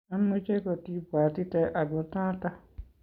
ameche kotibwatite ako noto